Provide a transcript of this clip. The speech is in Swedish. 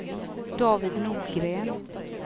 David Nordgren